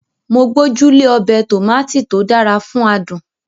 Mo gbójú lé ọbẹ̀ Tòmátì tó dára fún adùn